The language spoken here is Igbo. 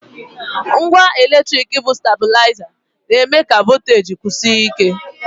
Ngwa eletrik bụ stablaịza na-eme ka voteji kwụsie ike.